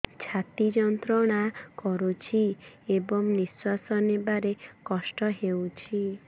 ଛାତି ଯନ୍ତ୍ରଣା କରୁଛି ଏବଂ ନିଶ୍ୱାସ ନେବାରେ କଷ୍ଟ ହେଉଛି